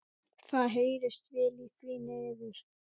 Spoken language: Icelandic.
Hver getur notast við gamaldags píanó?